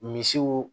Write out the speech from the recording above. Misiw